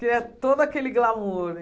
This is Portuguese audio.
Queria todo aquele glamour.